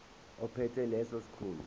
ophethe leso sikhundla